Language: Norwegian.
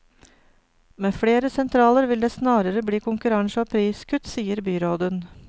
Med flere sentraler vil det snarere bli konkurranse og priskutt, sier byråden.